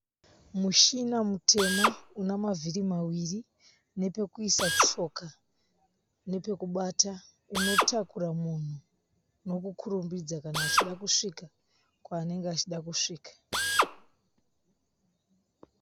Mushina mutema unamavhiri mawiri nepekuisa tsoka nepekubata. Unotakura munhu nekukurumidza kana achida kusvika kwavanenge achida kusvika.